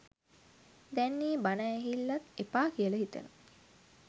දැන් ඒ බණ ඇහිල්ලත් එපා කියලා හිතෙනවා